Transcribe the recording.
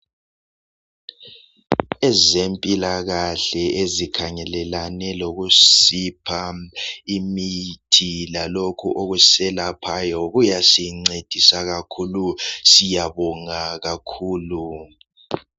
Ezempilakahle ezikhangelelane lokusipha imithi lalokhu okuselaphayo kuyasincedisa kakhulu siyabonga kakhulu